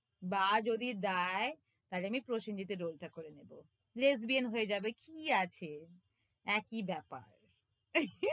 বা যদি দেয়, তাহলে প্রসেনজিৎ এর role টা করে নেবো lesbian হয়ে যাবে, কি আছে? একি ব্যাপার।